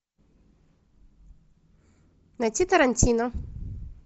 найти тарантино